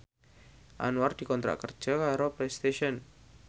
Anwar dikontrak kerja karo Playstation